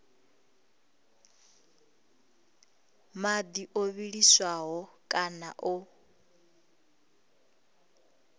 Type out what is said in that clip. madi o vhiliswaho kana o